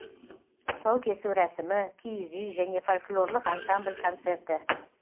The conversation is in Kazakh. тұсаукесу рәсімі киіз үй және фольклорлық ансамбль концерті